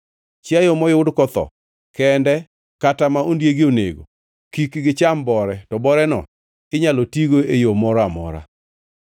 Chiayo moyud kotho kende kata ma ondiegi onego kik gicham bore to boreno inyalo tigo e yo moro amora.